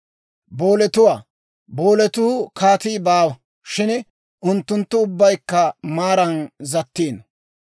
Booletuwaa, booletoo kaatii baawa; shin unttunttu ubbaykka maaran zattiino.